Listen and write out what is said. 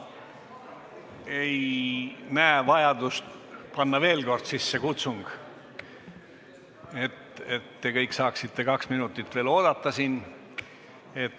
Ma ei näe vajadust panna taas sisse kutsung, et te kõik saaksite veel kaks minutit siin oodata.